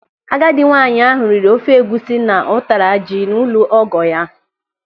Agadi nwaanyị ahụ riri ofe egwusi na ụtara ji n'ụlọ ọgọ ya.